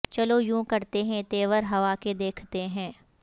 چلو یوں کرتے ہیں تیور ہوا کے دیکھتے ہیں